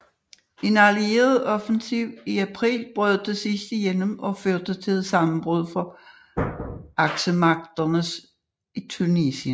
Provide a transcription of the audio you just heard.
En Allieret offensiv i april brød til sidst igennem og førte til et sammenbrud for Aksemagterne i Tunesien